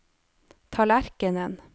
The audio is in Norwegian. tallerkenen